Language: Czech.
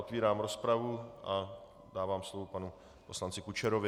Otvírám rozpravu a dávám slovo panu poslanci Kučerovi.